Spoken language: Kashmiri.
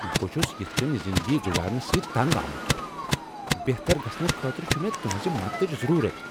بہٕ چُھس یِتھ کٕنۍ زندگی گزارنہٕ سۭتۍ تنگ آمُت! بہتر گژھنہٕ خٲطرٕ چِھ مےٚ تُہنزِ مدتٕچ ضرورت ۔